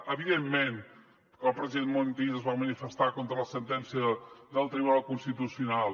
evidentment que el president montilla es va manifestar contra la sentència del tribunal constitucional